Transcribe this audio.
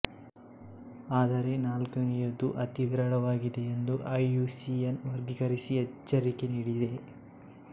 ಆದರೆ ನಾಲ್ಕನೆಯದು ಅತಿ ವಿರಳವಾಗಿದೆ ಎಂದು ಐಯುಸಿಎನ್ ವರ್ಗೀಕರಿಸಿ ಎಚ್ಚರಿಕೆ ನೀಡಿದೆ